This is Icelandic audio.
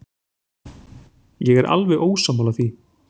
Ég er alveg ósammála því.